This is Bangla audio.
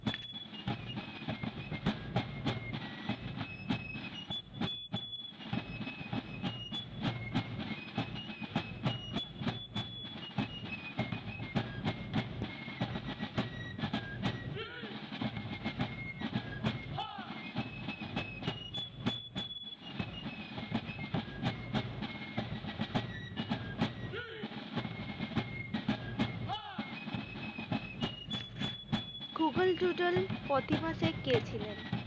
গুগল ডুডল ফতি মাসে কে ছিলেন